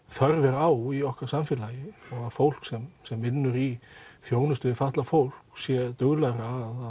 þörf er á í okkar samfélagi og fólk sem sem vinnur í þjónustu við fatlað fólk sé duglegra